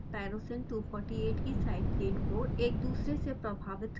tyrosine 248 की side chain को एक दुसरे से प्रभावित करते हुए घुमाने के लिए